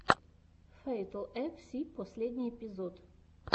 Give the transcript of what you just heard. фэйтл эф си последний эпизод